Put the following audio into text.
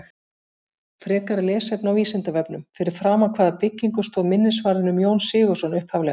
Frekara lesefni á Vísindavefnum: Fyrir framan hvaða byggingu stóð minnisvarðinn um Jón Sigurðsson upphaflega?